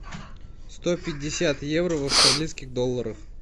сто пятьдесят евро в австралийских долларах